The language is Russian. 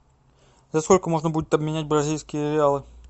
за сколько можно будет обменять бразильские реалы